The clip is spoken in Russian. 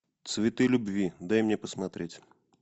цветы любви дай мне посмотреть